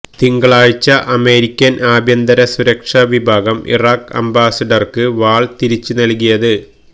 തിങ്കളാഴ്ച്ച അമേരിക്കന് ആഭ്യന്തര സുരക്ഷാ വിഭാഗം ഇറാഖ് അംബാസിഡര്ക്ക് വാള് തിരിച്ച് നല്കിയത്